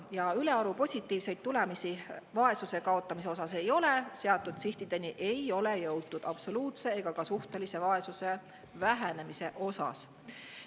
Ja ülearu positiivseid tulemusi vaesuse kaotamise osas ei ole, seatud sihtideni ei ole jõutud absoluutse ega ka suhtelise vaesuse vähenemise osas.